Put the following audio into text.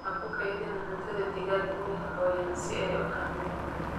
Ha ku kaydin cuntada digaaga meel qoyan si ayan u kharribin.